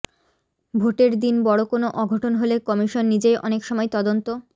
ভোটের দিন বড় কোনো অঘটন হলে কমিশন নিজেই অনেক সময় তদন্ত